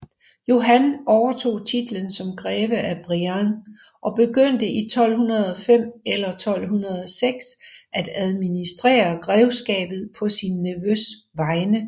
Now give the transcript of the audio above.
Johan overtog titlen som greve af Brienne og begyndte i 1205 eller 1206 at administrere grevskabet på sin nevøs vegne